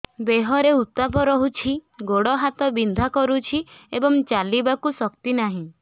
ଦେହରେ ଉତାପ ରହୁଛି ଗୋଡ଼ ହାତ ବିନ୍ଧା କରୁଛି ଏବଂ ଚାଲିବାକୁ ଶକ୍ତି ନାହିଁ